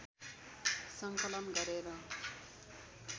सङ्कलन गरेर